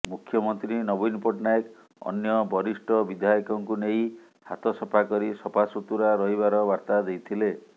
ମୁଖ୍ୟମନ୍ତ୍ରୀ ନବୀନ ପଟ୍ଟନାୟକ ଅନ୍ୟ ବରିଷ୍ଠ ବିଧାୟକଙ୍କୁ ନେଇ ହାତ ସଫା କରି ସଫାସୁତୁରା ରହିବାର ବାର୍ତ୍ତା ଦେଇଥିଲେ